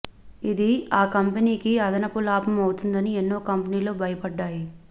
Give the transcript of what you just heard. ఇది ఆ కంపెనీకి అదనపు లాభం అవుతుందని ఎన్నో కంపెనీలు భయపడ్డాయి